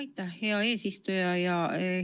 Aitäh, hea eesistuja!